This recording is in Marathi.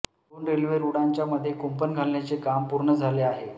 दोन रेल्वे रूळांच्या मध्ये कुंपण घालण्याचे काम पूर्ण झाले आहे